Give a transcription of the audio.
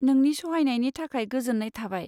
नोंनि सहायनायनि थाखाय गोजोन्नाय थाबाय।